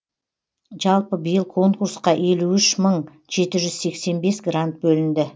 жалпы биыл конкурсқа елу үш мың жеті жүз сексен бес грант бөлінді